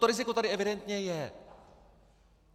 To riziko tady evidentně je!